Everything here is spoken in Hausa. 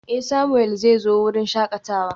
Eh, Samuel zai zo wurin shakatawa.